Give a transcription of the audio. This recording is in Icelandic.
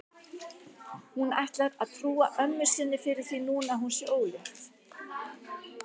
Hún ætlar að trúa ömmu sinni fyrir því núna að hún sé ólétt.